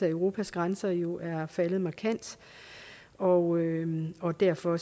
europas grænser jo er faldet markant og og derfor